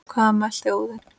Hvað mælti Óðinn